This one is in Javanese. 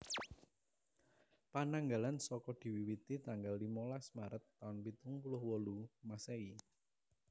Pananggalan Saka diwiwiti tanggal limolas Maret taun pitung puluh wolu Masèhi